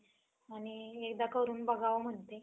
आणि एकदा करून बघावं म्हणते.